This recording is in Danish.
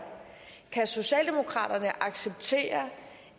kan socialdemokraterne acceptere